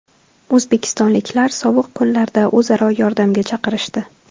O‘zbekistonliklar sovuq kunlarda o‘zaro yordamga chaqirishdi.